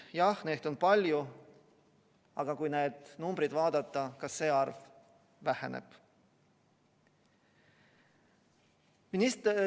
Jah, neid on palju, aga kui neid numbreid vaadata, siis näeme, et ka see arv väheneb.